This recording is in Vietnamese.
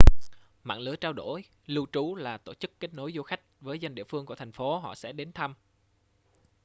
mạng lưới trao đổi lưu trú là tổ chức kết nối du khách với dân địa phương của thành phố họ sẽ đến thăm